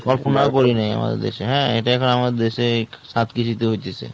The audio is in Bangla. পড়িনাই হ্যাঁ, এটা এখন আমাদের দেশে সব কিছুতে হইতেছে।